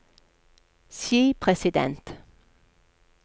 skipresident